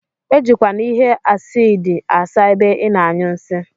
Ejikwana ihe acidi asa ebe ina anyụ nsi.